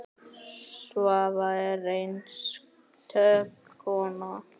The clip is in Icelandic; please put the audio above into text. Svava er einstök kona.